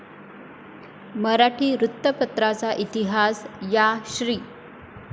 मराठी वृत्तपत्राचा इतिहास, या श्री.